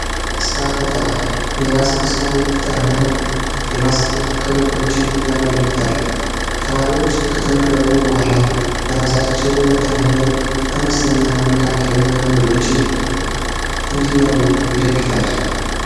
ስራ ፈጠራ የራስን ስራ የመፍጠርና የማስኬድ ክህሎቶችን ያጎለብታል ተማሪዎች ከተመረቁ በኋላ በራሳቸው በመተማመን አነስተኛና መካከለኛ ንግዶችን እንዲመሩ ይደግፋል።